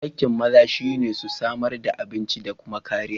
Aikiin maza shi ne su samar da abinci da kuma kariya